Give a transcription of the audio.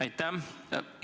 Aitäh!